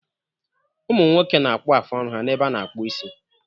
Ụmụ nwoke na-akpụ afụ ọnụ ha n'ebe a na-akpụ isi.